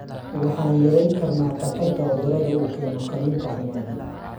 waxaan yarayn karnaa khatarta cudurada uu keeno kalluunka xumaaday.